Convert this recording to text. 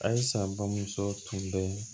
Ayisa bamuso tun bɛ